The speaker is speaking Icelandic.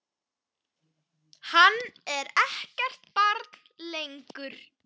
Hann er ekkert barn lengur.